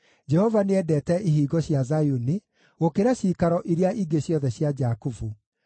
Jehova nĩendete ihingo cia Zayuni gũkĩra ciikaro iria ingĩ ciothe cia Jakubu.